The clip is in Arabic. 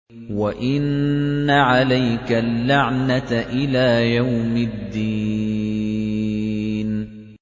وَإِنَّ عَلَيْكَ اللَّعْنَةَ إِلَىٰ يَوْمِ الدِّينِ